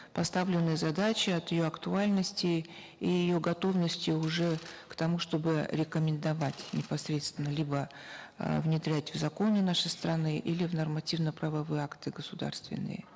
поставленной задачи от ее актуальности и ее готовности уже к тому чтобы рекомендовать непосредственно либо э внедрять в законы нашей страны или в нормативно правовые акты государственные